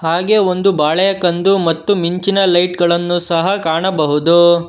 ಹಾಗೆ ಒಂದು ಬಾಳೆಕಂದು ಮತ್ತು ಮಿಂಚಿನ ಲೈಟ್ ಗಳನ್ನು ಸಹ ಕಾಣಬಹುದು.